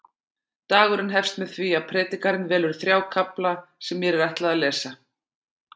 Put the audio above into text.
Dagurinn hefst með því að predikarinn velur þrjá kafla sem mér er ætlað að lesa.